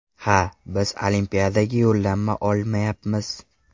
Ha, biz Olimpiadaga yo‘llanma olmayapmiz.